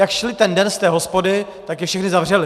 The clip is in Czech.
Jak šli ten den z té hospody, tak je všechny zavřeli.